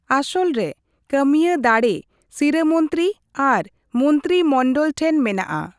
ᱟᱥᱚᱞ ᱨᱮ ᱠᱟᱢᱤᱭᱟᱹ ᱫᱟᱲᱮ ᱥᱤᱨᱟᱹ ᱢᱚᱱᱛᱨᱤ ᱟᱨ ᱢᱚᱱᱛᱨᱤ ᱢᱚᱱᱰᱚᱞ ᱴᱷᱮᱱ ᱢᱮᱱᱟᱜᱼᱟ ᱾